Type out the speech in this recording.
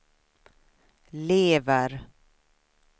lever